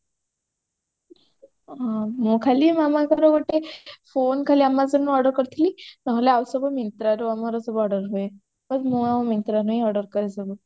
ମୁଁ ଖାଲି ମାମାଙ୍କର ଗୋଟେ phone ଖାଲି amazon ରୁ order କରିଥିଲି ନହେଲେ ଆଉ ସବୁ myntra ରୁ ଆମର ସବୁ order ହୁଏ ବସ ମୁଁ ଆଉ myntra ରୁ ହିଁ order କରେ ସବୁ